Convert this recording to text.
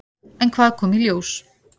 En hvað kom í ljós?